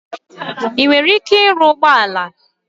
Ị nwere ike ịrụ ụgbọ ala?